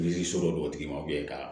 Yiririsi dɔ de ma ka